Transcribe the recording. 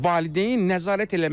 Valideyn nəzarət eləməlidir.